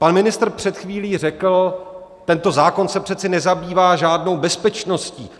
Pan ministr před chvílí řekl: tento zákon se přece nezabývá žádnou bezpečností.